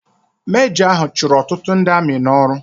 Mejọ ahụ chụrụ ọtụtụ ndị amị n'ọrụ.